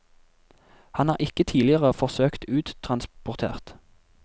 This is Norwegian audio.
Han er ikke tidligere forsøkt uttransportert.